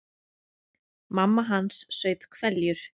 Mamma hans saup hveljur.